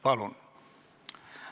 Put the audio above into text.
Palun!